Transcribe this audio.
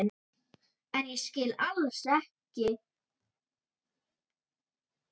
En ég skil alls ekki ósáttur við Fram.